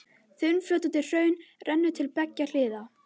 Þunnfljótandi hraun rennur til beggja hliða.